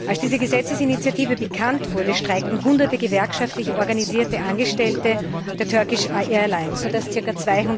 Als diese Gesetzesinitiative bekannt wurde, streikten Hunderte gewerkschaftlich organisierte Angestellte der Turkish Airlines, sodass ca.